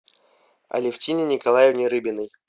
алевтине николаевне рыбиной